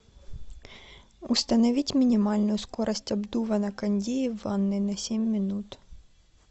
установить минимальную скорость обдува на кондее в ванной на семь минут